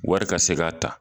Wari ka se ka ta